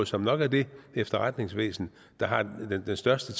som nok har det efterretningsvæsen der har den største